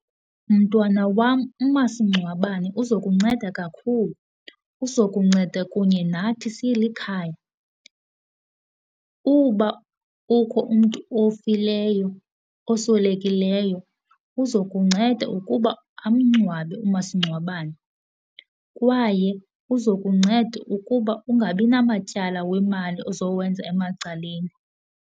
Mntwana wam, umasingcwabane uza kunceda kakhulu, uza kunceda kunye nathi silikhaya. Uba kukho umntu ofileyo oswelekileyo uzokunceda ukuba amngcwabe umasingcwabane kwaye uza kunceda ukuba ungabi namatyala wemali ozowenza emacaleni.